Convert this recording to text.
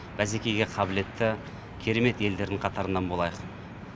бәсекеге қабілетті керемет елдердің қатарынан болайық